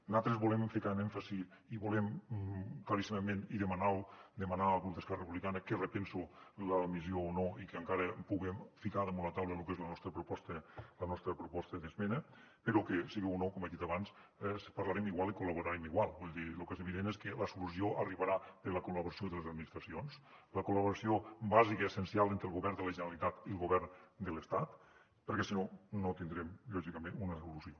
nosaltres volem ficar en èmfasi i volem claríssimament i demanar al grup d’esquerra republicana que repensi l’admissió o no i que encara puguem ficar damunt la taula lo que és la nostra proposta la nostra proposta d’esmena però que siga o no com he dit abans parlarem igual i col·laborem igual vull dir lo que és evident és que la solució arribarà per la col·laboració de les administracions la col·laboració bàsica i essencial entre el govern de la generalitat i el govern de l’estat perquè si no no tindrem lògicament una solució